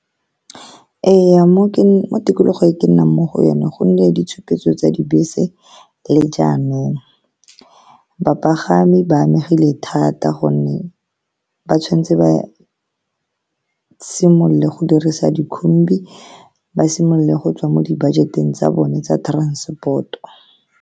Ee, mo tikologong e ke nnang mo go yone, gonne ditshupetso tsa dibese le jaanong, bapagami ba amegile thata ka gonne ba tshwanetse ba simolole go dirisa dikhumbi, ba simolole go tswa mo di-budget-eng tsa bone tsa transport-o.